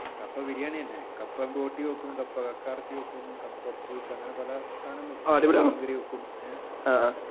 കപ്പ ബിരിയാണി തന്നെ കപ്പ പൊട്ടി വെക്കും കപ്പ കക്കയിറച്ചി വെക്കും കപ്പ പുഴുക്ക് അങ്ങനെ പല